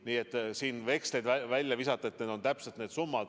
Nii et siin ei saa veksleid välja käia, et peaksime maksma täpselt sama suure summa.